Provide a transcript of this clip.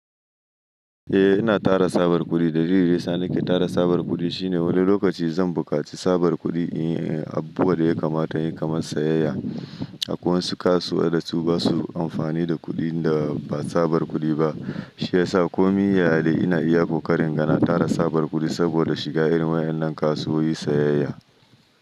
Eh ina tara tsabar kudi, dalilin da ya sa nake tara tsabar kudi shine wani lokaci zan buƙaci tsabar kudi a abu da ya kamata yin kamar sayayya. Akwai wasu kasuwa dasu ba su amfani da kuɗin da ba tsabar kudi ba, shi ya sa ko min yaya dai ina iyako karin gana tara tsabar kudi saboda shiga irin waɗannan kasuwowi sayayya.